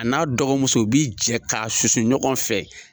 A n'a dɔgɔmuso u bi jɛ k'a susu ɲɔgɔn fɛ.